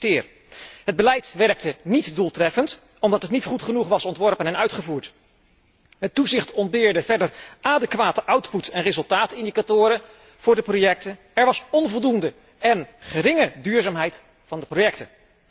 Ik citeer het beleid werkte niet doeltreffend, omdat het niet goed genoeg was ontworpen en uitgevoerd, het toezicht ontbeerde verder adequate output en resultaatindicatoren voor de projecten, en er was onvoldoende en geringe duurzaamheid van de projecten.